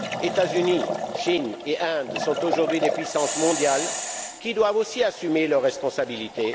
États Unis, Chine et Inde sont aujourd'hui des puissances mondiales qui doivent aussi assumer leurs responsabilités.